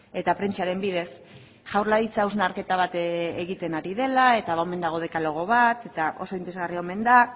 eta prentsaren bidez jaurlaritzak hausnarketa bat egiten ari dela eta omen dago dekalogo bat eta oso interesgarria omen da